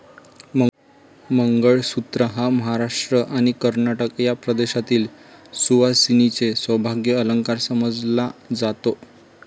मंगळसूत्र हा महाराष्ट्र आणि कर्नाटक या प्रदेशातील सुवासिनींचे सौभाग्य अलंकार समजला जातो.